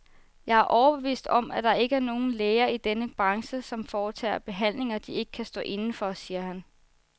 Jeg er overbevist om, at der ikke er nogen læger i denne branche, som foretager behandlinger, de ikke kan stå inde for, siger han.